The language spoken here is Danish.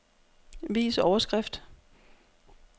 Vis overskrift.